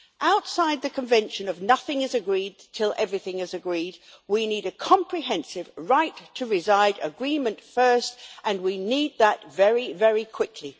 Outside the convention of nothing is agreed till everything is agreed', we need a comprehensive right to reside agreement first and we need that very, very quickly.